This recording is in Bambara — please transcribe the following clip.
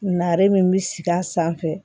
Nare min bɛ sigi a sanfɛ